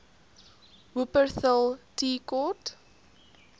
wupperthal tea court